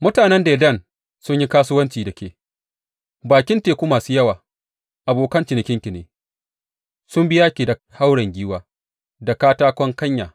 Mutanen Dedan sun yi kasuwanci da ke, bakin teku masu yawa abokan cinikinki ne; sun biya ki da hauren giwa da katakon kanya.